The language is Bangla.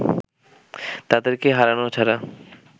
তাদেরকে হারানো ছাড়া